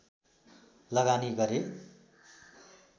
लगानी गरे